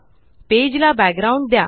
page ला background द्या